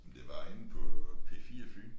Det var inde på P4 Fyn